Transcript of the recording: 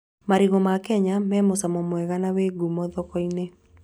Marigũ ma Kenya me mũcamo mwega na me ngumo thoko-inĩ